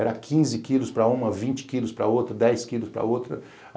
Era quinze quilos para uma, vinte quilos para outra, dez quilos para outra.